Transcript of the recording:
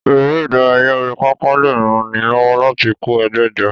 Eré ìdárayá orí pápá lè ran ni lọ́wọ́ láti kó ẹgbẹ́ jọ.